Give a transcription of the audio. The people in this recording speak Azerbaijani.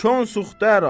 Kor suxtarə.